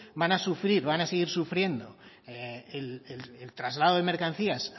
van a sufrir van a seguir sufriendo el traslado de mercancías